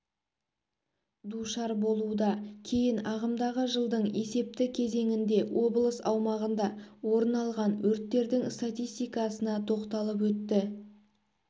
душар болуда кейін ағымдағы жылдың есепті кезеңінде облыс аумағында орын алған өрттердің статистикасына тоқталып өтті